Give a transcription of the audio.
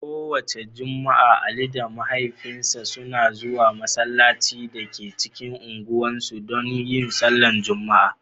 Kowace Juma'a, Ali da mahaifinsa suna zuwa masallacin da ke cikin unguwar su dan yin sallah Juma'a.